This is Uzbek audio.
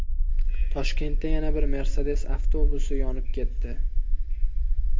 Toshkentda yana bir Mercedes avtobusi yonib ketdi.